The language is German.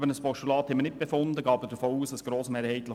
Über ein Postulat haben wir nicht diskutiert.